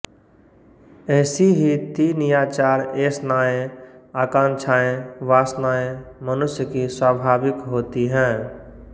ऐसी ही तीन या चार एषणाएँ आकांक्षाएँ वासनाएँ मनुष्य की स्वाभाविक होती हैं